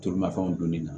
Tulumafɛnw donni na